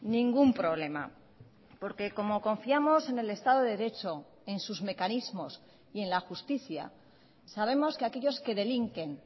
ningún problema porque como confiamos en el estado de derecho en sus mecanismos y en la justicia sabemos que aquellos que delinquen